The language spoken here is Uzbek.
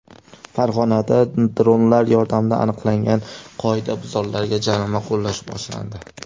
Farg‘onada dronlar yordamida aniqlangan qoidabuzarlarga jarima qo‘llash boshlandi.